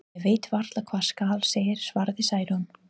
Ég veit varla hvað skal segja, svaraði Særún.